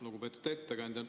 Lugupeetud ettekandja!